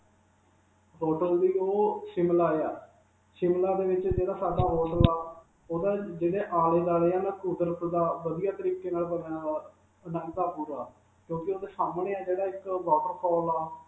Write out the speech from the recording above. hotel ਦੀ, ਉਹ Shimla ਹੈ. Shimla ਦੇ ਵਿਚ ਜਿਹੜਾ ਸਾਡਾ hotel ਹੈ. ਉਦੇ ਜਿਹੜੇ ਆਲੇ-ਦੁਆਲੇ ਹੈ ਕੁਦਰਤ ਦਾ ਵਧੀਆ ਤਰੀਕੇ ਨਾਲ ਬਣਾਇਆ ਹੋਇਆ ਕਿਉਂਕਿ ਉਧਰ ਸਾਹਮਣੇ ਹੈ ਜਿਹੜਾ ਇਕ ਅਅ waterfall ਹੈ.